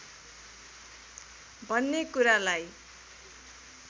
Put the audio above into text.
भन्ने कुरालाई